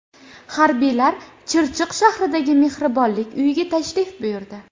Harbiylar Chirchiq shahridagi Mehribonlik uyiga tashrif buyurdi.